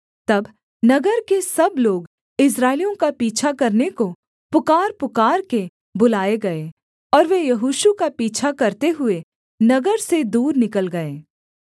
तब नगर के सब लोग इस्राएलियों का पीछा करने को पुकारपुकारके बुलाए गए और वे यहोशू का पीछा करते हुए नगर से दूर निकल गए